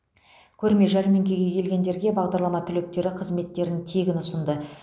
көрме жәрмеңкеге келгендерге бағдарлама түлектері қызметтерін тегін ұсынды